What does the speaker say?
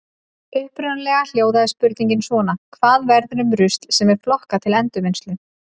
Upprunalega hljóðaði spurningin svona: Hvað verður um rusl sem er flokkað til endurvinnslu?